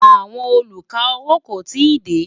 àwọn olú ká owó kò tí dé